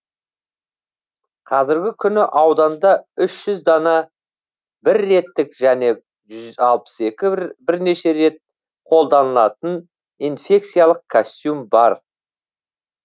қазіргі күні ауданда үш жүз дана бір реттік және жүз алпыс екі бірнеше рет қолданатын инфекциялық костюм бар